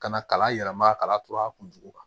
Ka na kalan yɛlɛma kalan tora kun kan